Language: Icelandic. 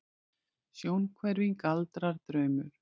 Sjónhverfing, galdrar, draumur?